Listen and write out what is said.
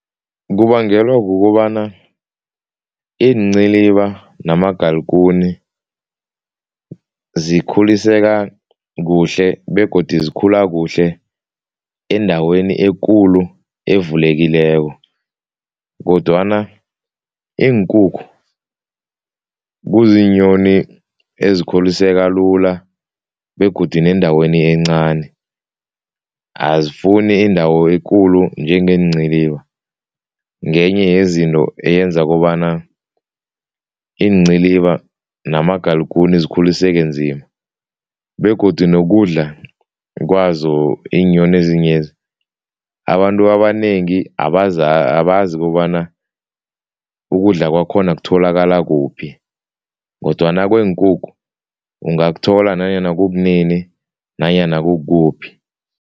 Kubangelwa kukobana iinciliba namagaikuni zikhuliseka kuhle begodu zikhula kuhle endaweni ekulu, evulekileko kodwana iinkukhu kuziinyoni ezikhuliseka lula begodu nendaweni encani, azifuni indawo ekulu njengeenciliba, ngenye yezinto eyenza kobana iinciliba namagalikuni zilikhuliseke nzima. Begodu nokudla kwazo iinyoni ezinyezi, abantu abanengi abazi kobana ukudla kwakhona kutholakala kuphi kodwana kweenkukhu ungakuthola nanyana kukunini nanyana kukuphi.